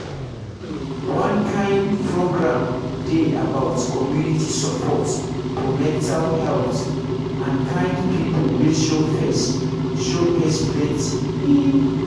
one kind program dey about community support for mental health and kind people wey show face show face plenty ehh